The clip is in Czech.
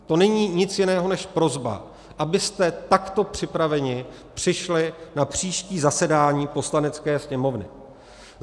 To není nic jiného než prosba, abyste takto připraveni přišli na příští zasedání Poslanecké sněmovny.